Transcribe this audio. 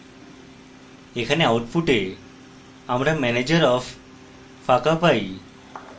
এখানে output আমরা manager of: ফাঁকা পাই